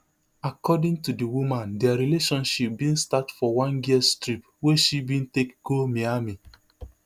according to di woman dia relationship bin start for one girls trip wey she bin take go miami